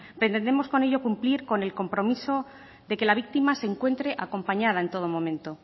pretendemos con ello cumplir con el compromiso de que la víctima se encuentre acompañada en todo momento